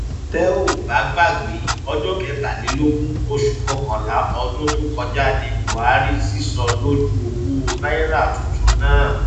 tẹ ò bá gbàgbé ọjọ kẹtàlélógún oṣù kọkànlá ọdún tó kọjá ní buhari sísọ lójú owó náírà tuntun náà